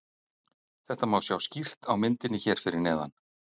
Þetta má sjá skýrt á myndinni hér fyrir neðan.